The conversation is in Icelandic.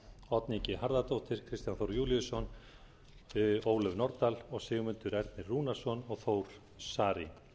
oddný g harðardóttir kristján þór júlíusson ólöf nordal og sigmundur ernir rúnarsson og þór saari